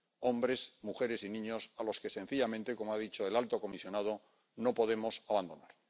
hombres, mujeres y niños a los que, sencillamente ―como ha dicho el alto comisionado―, no podemos abandonar.